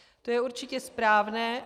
To je určitě správné.